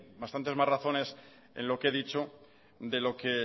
bastantes más razones en lo que he dicho de lo que